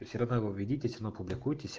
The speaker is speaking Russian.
в серанаво введитесь и опубликуйтесь